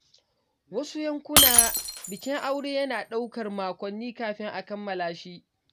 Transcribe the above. A wasu yankuna, bikin aure yana ɗaukar makonni kafin a kammala shi.